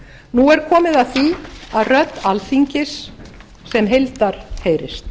nú er komið að því að rödd alþingis sem heildar heyrist